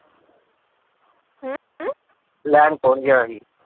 ਲੈਣ ਕੌਣ ਗਿਆ ਸੀ?